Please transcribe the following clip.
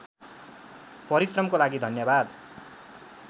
परिश्रमको लागि धन्यवाद